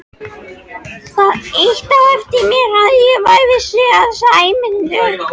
Það ýtti á eftir mér að ég vissi að Sæmundur